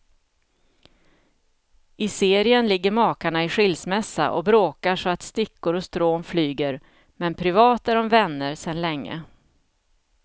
I serien ligger makarna i skilsmässa och bråkar så att stickor och strån flyger, men privat är de vänner sedan länge.